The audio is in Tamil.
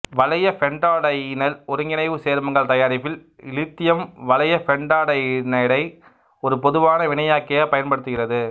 வளையபெண்டாடையீனைல் ஒருங்கிணைவுச் சேர்மங்கள் தயாரிப்பில் இலித்தியம் வளையபெண்டாடையீனைடு ஒரு பொதுவான வினையாக்கியாகப் பயன்படுகிறது